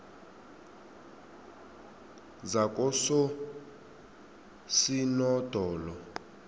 zakososinodolo